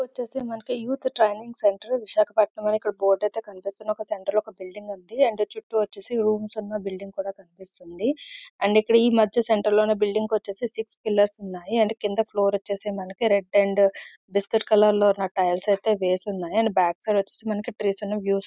ఇది వచ్చేసి మనకు యూత్ ట్రైనింగ్ సెంటర్ విశాఖపట్నం అన్ని బోర్డు కనిపిస్తోంది. ఒక సెంటర్ లో బిల్డింగ్ ఉంది.అండ్ చుట్టూ వచ్చేసి రూమ్స్ ఉన్న బిల్డింగ్ కూడా కనిపిస్తోంది. అండ్ ఈ మధ్య సెంటర్ లోనే బిల్డింగ్ వచ్చేసి సిక్స్ పిల్లర్స్ ఉన్నాయి. అండ్ క్రింద ఫ్లోర్ వచ్చేసి మనకీ రెడ్ అండ్ బిస్కెట్ కలర్ లో ఉన్న టైల్స్ ఐతే వేసి ఉన్నాయి.అండ్ బ్యాక్ సైడ్ వచ్చేసి ట్రీస్ అనే--